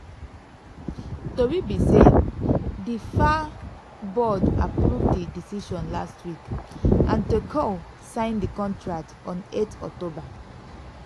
tori be say di fa board approve di decision last week and tuchel signed di contract on 8 october.